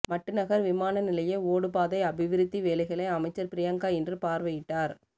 மட்டுநகர் விமான நிலைய ஓடு பாதை அபிவிருத்தி வேலைகளை அமைச்சர் பிரியங்க இன்று பார்வையிட்டார்